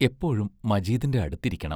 എപ്പോഴും മജീദിന്റെ അടുത്തിരിക്കണം.